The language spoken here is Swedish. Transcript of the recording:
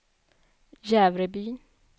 Jävrebyn